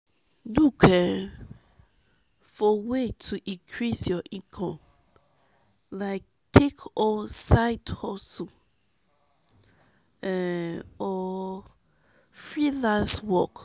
look um for way to increase your income like take on side um hustle or um freelance work.